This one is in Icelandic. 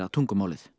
tungumálið